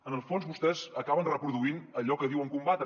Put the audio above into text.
en el fons vostès acaben reproduint allò que diuen combatre